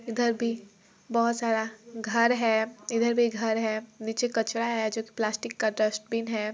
इधर भी बहुत सारा घर है इधर भी घर है नीचे कचरा है जो की प्लास्टिक का डस्टबिन है।